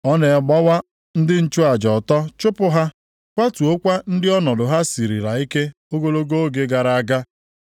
Ọ na-agbawa ndị nchụaja ọtọ chụpụ ha, kwatuokwa ndị ọnọdụ ha sirila ike ogologo oge gara aga.